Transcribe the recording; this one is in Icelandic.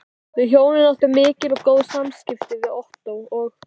Við hjónin áttum mikil og góð samskipti við Ottó og